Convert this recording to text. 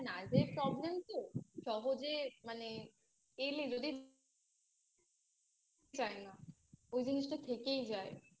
আর Nerve এর Problem তো সহজে মানে এলে যেতে চায় না ওই জিনিসটা থেকেই যায়